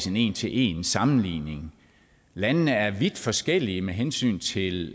en en til en sammenligning landene er vidt forskellige med hensyn til